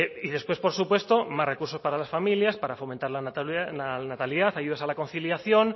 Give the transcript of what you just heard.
y después por supuesto más recursos para las familias para fomentar la natalidad ayudas a la conciliación